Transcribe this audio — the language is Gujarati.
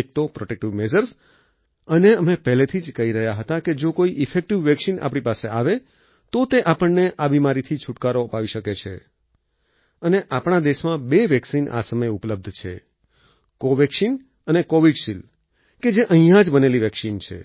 એક તો પ્રોટેક્ટિવ મેઝર્સ અને અમે પહેલેથી જ કહી રહ્યા હતા કે જો કોઈ ઈફેક્ટિવ વેક્સિન આપણી પાસે આવે તો તે આપણને આ બિમારીથી છૂટકારો અપાવી શકે છે અને આપણા દેશમાં બે વેક્સિન આ સમયે ઉપલબ્ધ છે કોવેક્સિન અને કોવિશિલ્ડ છે જે અહીંયા જ બનેલી વેક્સિન છે